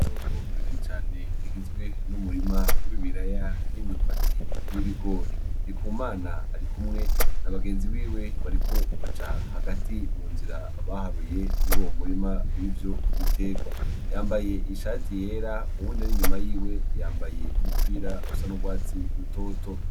Itongo rinini cane rigizwe n'umurima w'i biraya, n'imyumbati, n'ibigori, ndikumana ari kumwe ni abagenzi biwe bariko baca hagati mu nzira baharuye muri uwo murima w'ivyo biterwa yambaye ishati yera uwune r'inyuma yiwe yambaye umupira wusa n'urwatsi rutoto.